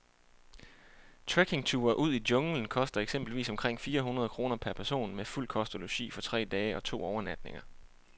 Trekkingture ud i junglen koster eksempelvis omkring fire hundrede kroner per person med fuld kost og logi for tre dage og to overnatninger.